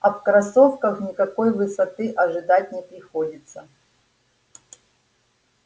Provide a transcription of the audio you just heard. а в кроссовках никакой высоты ожидать не приходится